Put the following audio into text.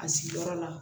A sigiyɔrɔ la